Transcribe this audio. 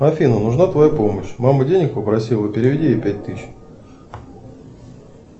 афина нужна твоя помощь мама денег попросила переведи ей пять тысяч